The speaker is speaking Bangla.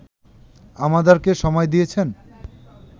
আমাদেরকে সময় দিয়েছেন